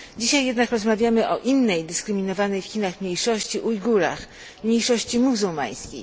Dzisiaj jednak rozmawiamy o innej dyskryminowanej w Chinach mniejszości Ujgurach, mniejszości muzułmańskiej.